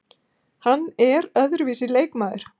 Hann er öðruvísi leikmaður.